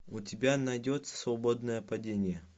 у тебя найдется свободное падение